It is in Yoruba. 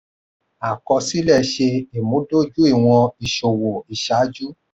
àkọọ́lẹ̀ ṣe ìmúdójúìwọ̀n ìṣòwò iṣaaju.